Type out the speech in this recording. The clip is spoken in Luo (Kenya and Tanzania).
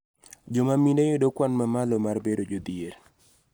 Joma mine yudo kwan mamalo mar bedo jodhier